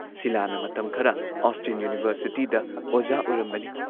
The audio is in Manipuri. ꯁꯤꯂꯥꯅ ꯃꯇꯝ ꯈꯔ ꯑꯣꯁꯇꯤꯟ ꯌꯨꯅꯤꯚꯔꯁꯤꯇꯤꯗ ꯑꯣꯖꯥ ꯑꯣꯏꯔꯝꯕꯅꯤ ꯫